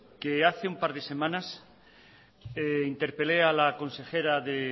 que hace un par de semanas interpelé a la consejera de